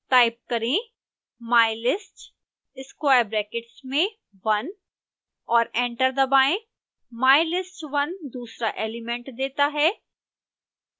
type करें mylist square brackets में one और एंटर दबाएं